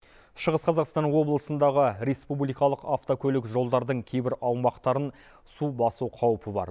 шығыс қазақстан облысындағы республикалық автокөлік жолдардың кейбір аумақтарын су басу қаупі бар